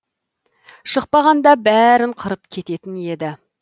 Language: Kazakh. шықпағанда бәрін қырып кететін еді